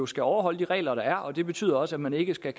skal overholde de regler der er og det betyder også at man ikke skal